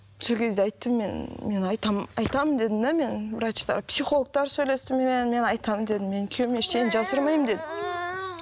сол кезде айттым мен мен айтамын айтамын дедім де мен врачтар психологтар сөйлесті менімен мен айтамын дедім мен күйеуімнен ештеңе жасырмаймын дедім